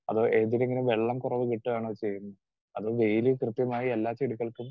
speaker 2 അതോ ഏതിനെങ്കിലും വെള്ളം കുറവ് കിട്ടുകയാണോ ചെയ്യുന്നെ അതോ വെയില് കൃത്യമായി എല്ലാ ചെടികൾക്കും